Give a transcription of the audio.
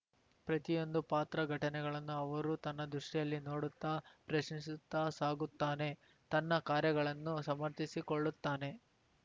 ಪ್ರತಿಯೊಂದು ಪಾತ್ರಘಟನೆಗಳನ್ನು ಅವರು ತನ್ನ ದೃಷ್ಟಿಯಲ್ಲಿ ನೋಡುತ್ತಾ ಪ್ರಶ್ನಿಸುತ್ತಾ ಸಾಗುತ್ತಾನೆ ತನ್ನ ಕಾರ್ಯಗಳನ್ನು ಸಮರ್ಥಿಸಿಕೊಳ್ಳುತ್ತಾನೆ